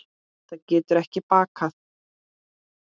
Það getur ekki bakkað.